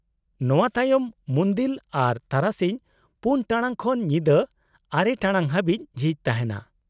-ᱱᱚᱶᱟ ᱛᱟᱭᱚᱢ ᱢᱩᱱᱫᱤᱞ ᱟᱨᱚ ᱛᱟᱨᱟᱥᱤᱧ ᱔ ᱴᱟᱲᱟᱝ ᱠᱷᱚᱱ ᱧᱤᱫᱟᱹ ᱙ ᱴᱟᱲᱟᱝ ᱦᱟᱹᱵᱤᱡ ᱡᱷᱤᱡ ᱛᱟᱦᱮᱱᱟ ᱾